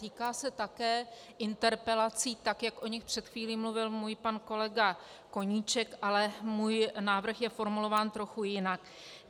Týká se také interpelací, tak jak o nich před chvílí mluvil můj pan kolega Koníček, ale můj návrh je formulován trochu jinak.